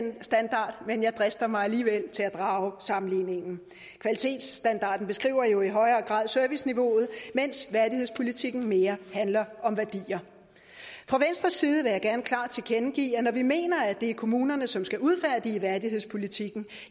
med en jeg drister mig alligevel til at drage sammenligningen kvalitetsstandarden beskriver jo i højere grad serviceniveauet mens værdighedspolitikken mere handler om værdier fra venstres side vil vi gerne klart tilkendegive at når vi mener at det er kommunerne som skal udfærdige værdighedspolitikken